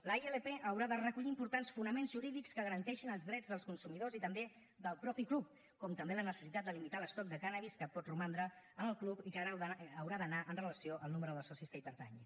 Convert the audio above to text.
la ilp haurà de recollir importants fonaments jurídics que garanteixin els drets dels consumidors i també del mateix club com també la necessitat de limitar l’estoc de cànnabis que pot romandre en el club i que haurà d’anar amb relació al nombre de socis que hi pertanyin